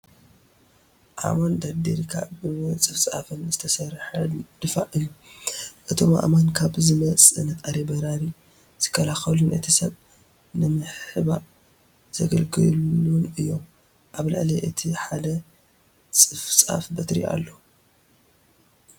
ኣእማን ደርዲርካ ብምፅፍፃፍ ዝተሰርሐ ድፋዕ እዩ፡፡ እቶም ኣእማን ካብ ዝመፅ ነጣሪ በራሪ ዝከላኸሉን እቲ ሰብ ንምሕባእዘገልግሉን እዮም፡፡ ኣብ ልዕሊ እቲ ሓደ ፅፍፃፍ በትሪ ኣሎ፡፡